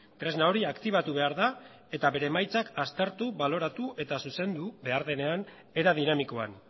tresna hori aktibatu behar da eta bere emaitzak aztertu baloratu eta zuzendu behar denean era dinamikoan